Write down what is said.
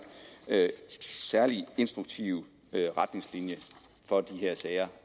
særlige instruktive retningslinjer for de her sager